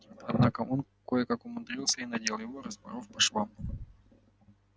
однако он кое-как умудрился и надел его распоров по швам